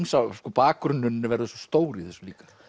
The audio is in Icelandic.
bakgrunnurinn verður svo stór í þessu líka